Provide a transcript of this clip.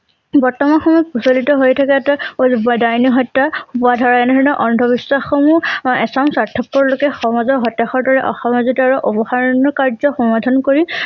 বৰ্তমান সময়ত প্ৰচলিত হৈ থকা এটা ডাইনী সত্য হোৱা ধৰা এনে ধৰণৰ অন্ধ বিশ্বাস সমূহ অ এচাম স্বাৰ্তপৰ লোকে সমাজৰ সতাসাৰ দৰে অসমাজিত আৰু কাৰ্য্য সমাধান কৰি